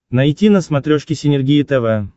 найти на смотрешке синергия тв